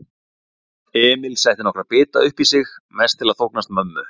Emil setti nokkra bita uppí sig, mest til að þóknast mömmu.